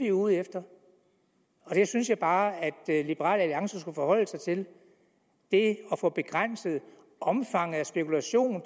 er ude efter og der synes jeg bare at liberal alliance skulle forholde sig til det at få begrænset omfanget af en spekulation